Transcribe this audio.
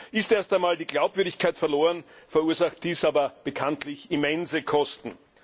Ist erst einmal die Glaubwürdigkeit verloren, verursacht dies aber bekanntlich immense Kosten.